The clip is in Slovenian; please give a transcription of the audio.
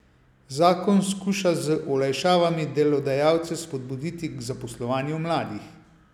Zakon skuša z olajšavami delodajalce spodbuditi k zaposlovanju mladih.